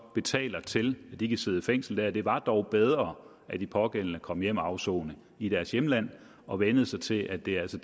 betaler til så de kan sidde i fængsel der det var dog bedre at de pågældende kom hjem og afsone i deres hjemland og vænnede sig til at det altså